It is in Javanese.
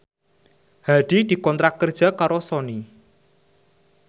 Hadi dikontrak kerja karo Sony